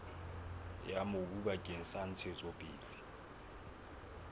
ya mobu bakeng sa ntshetsopele